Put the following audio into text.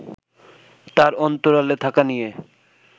তার অন্তরালে থাকা নিয়ে